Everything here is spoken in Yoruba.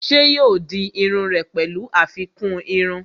Ṣé yóò di iru rẹ̀ pẹ̀lú àfikún irun?